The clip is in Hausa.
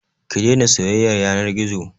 Ki daina soyayyar yanar gizo.